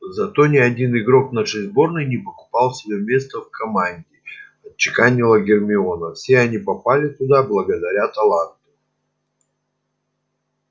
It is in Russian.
зато ни один игрок нашей сборной не покупал себе место в команде отчеканила гермиона все они попали туда благодаря таланту